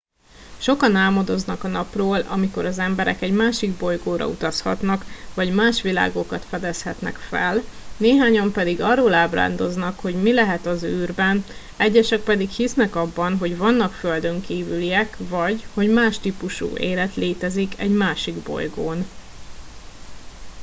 sokan álmodoznak a napról amikor az emberek egy másik bolygóra utazhatnak vagy más világokat fedezhetnek fel néhányan pedig arról ábrándoznak hogy mi lehet az űrben egyesek pedig hisznek abban hogy vannak földönkívüliek vagy hogy más típusú élet létezik egy másik bolygón